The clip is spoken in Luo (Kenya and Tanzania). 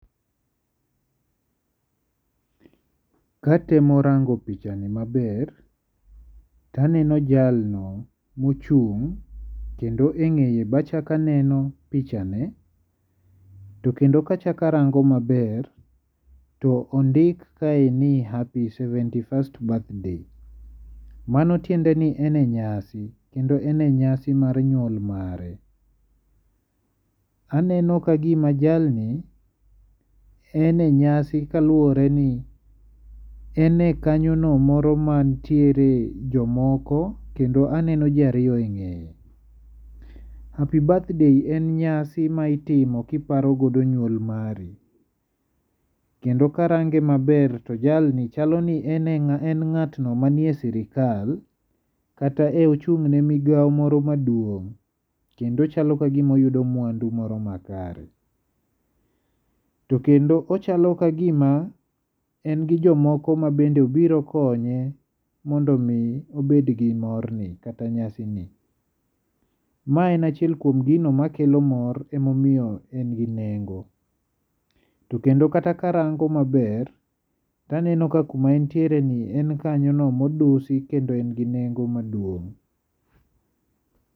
Katemo rango pichani maber to aneno jalno ma ochung', kendo e ng'eye be achak aneno pichane. To kendo ka achak aneno mabert to ondik kaendi ni Happy Seventy First Birthday. Mano tiende en e nyasi, kendo en e nyasi mar nyuol mare. Aneno ka gima jalni, en e nyasi kaluwore ni ene kanyo no moro ma nitiere jomoko kendo aneno ji ariyo e ng'eye. Happy birthday en nyasi ma itimo kiparo godo nyuol mari. Kendo karange maber to jalni chalo ni en e, en ngatno manie sirkal. Kata e ochung' ne migawo moro maduong. Kendo chal kagima oyudo mwandu moro makare. To kendo ochalo ka gima en gi jomoko ma bende obiro konye mondo omi obed gi morni, kata nyasi ni. Maen achiem gino makelo mor ema omiyo en gi nengo. Kendo kata karango maber aneno ka kuma en ntiere ni en kanyo no ma odusi kendo en gi nengo maduong.